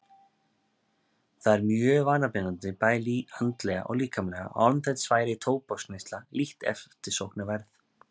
Það er mjög vanabindandi bæði andlega og líkamlega og án þess væri tóbaksneysla lítt eftirsóknarverð.